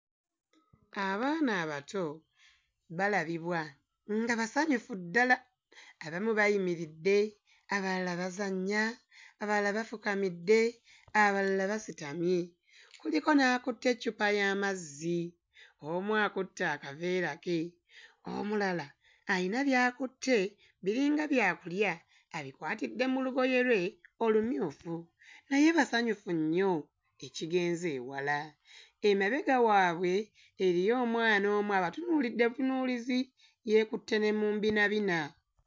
Abaana abato balabibwa nga basanyufu ddala, abamu bayimiridde, abalala bazannya, abalala bafukamidde, abalala basitamye, kuliko n'akutte eccupa y'amazzi, omu akutte akaveera ke, omulala ayina by'akutte, biringa byakulya, abikwatidde mu lugoye lwe olumyufu, naye basanyufu nnyo ekigenze ewala. Emabega waabwe eriyo omwana omu abatunuulidde butunuulizi, yeekutte ne mu mbinabina.